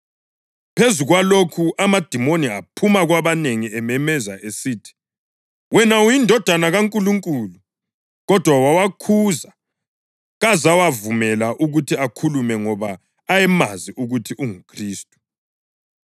Phezu kwalokho amadimoni aphuma kwabanengi ememeza esithi, “Wena uyiNdodana kaNkulunkulu!” Kodwa wawakhuza kazawavumela ukuthi akhulume ngoba ayemazi ukuthi unguKhristu.